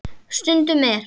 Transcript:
Stundum er